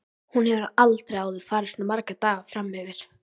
Hún hefur aldrei áður farið svona marga daga fram yfir.